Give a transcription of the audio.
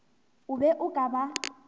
o be o ka ba